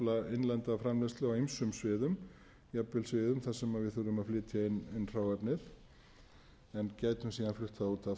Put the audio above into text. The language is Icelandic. efla innlenda framleiðslu á ýmsum sviðum jafnvel sviðum þar sem við þurfum að flytja inn hráefnið en gætum síðan flutt það út aftur eftir að hafa aukið